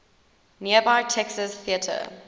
nearby texas theater